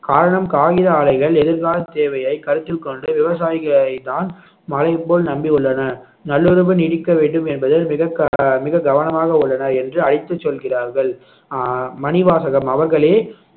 காரணம் காகித ஆலைகள் எதிர்கால தேவையை கருத்தில் கொண்டு விவசாயிகளைதான் மழை போல் நம்பியுள்ளனர் நல்லுறவு நீடிக்க வேண்டும் என்பதில் மிக க~ மிக கவனமாக உள்ளனர் என்று அழைத்துச் சொல்கிறார்கள் அஹ் மணிவாசகம் அவர்களே